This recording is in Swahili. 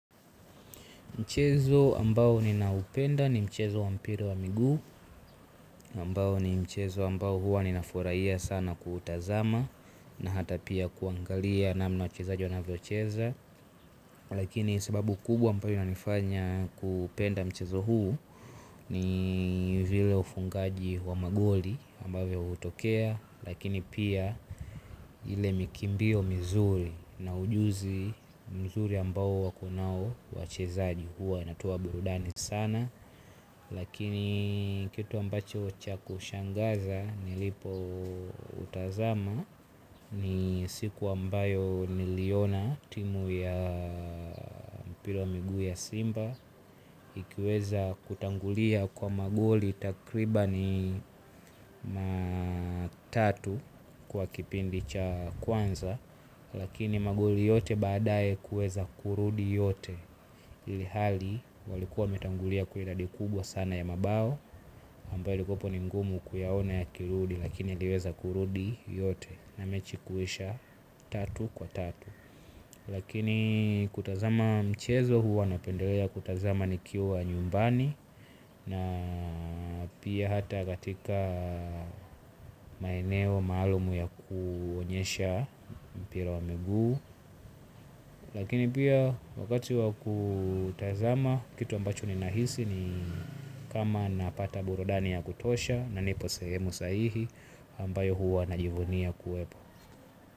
Mchezo ambao ninaupenda ni mchezo wa mpira wa miguu ambao ni mchezo ambao huwa ninafurahia sana kuutazama na hata pia kuangalia namna wachezaji wanavyocheza. Lakini sababu kubwa ambayo inanifanya kupenda mchezo huu ni vile ufungaji wa magoli ambavyo hutokea. Lakini pia ile mikimbio mizuri na ujuzi mzuri ambao wakonayo wachezaji huwa wanatoa burudani sana. Lakini kitu ambacho cha kushangaza nilipo utazama ni siku ambayo niliona timu ya mpira wa miguu ya simba ikiweza kutangulia kwa magoli takriban matatu kwa kipindi cha kwanza. Lakini magoli yote baadae kueza kurudi yote. Hili hali walikuwa metangulia kuiladi kubwa sana ya mabao. Hamba ilikopo ningumu kuyaona ya kirudi lakini iliweza kurudi yote. Na mechi kuisha tatu kwa tatu. Lakini kutazama mchezo huwa napendelea kutazama nikiwa nyumbani. Na pia hata katika maeneo maalumu ya kuonyesha mpira wa miguu. Lakini pia wakati wakutazama kitu ambacho ninahisi ni kama napata burudani ya kutosha na nipo sehemu sahihi ambayo huwa najivunia kuwepo.